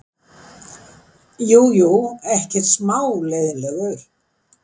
Jú, jú, ekkert smá leiðinlegur.